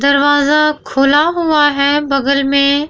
दरवाजा खुला हुआ है बगल में।